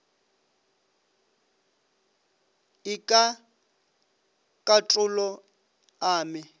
e ka katolo a me